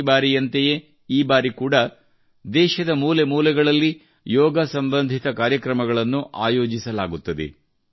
ಪ್ರತಿ ಬಾರಿಯಂತೆಯೇ ಈ ಬಾರಿ ಕೂಡಾ ದೇಶದ ಮೂಲೆ ಮೂಲೆಗಳಲ್ಲಿ ಯೋಗ ಸಂಬಂಧಿತ ಕಾರ್ಯಕ್ರಮಗಳನ್ನು ಆಯೋಜಿಸಲಾಗುತ್ತದೆ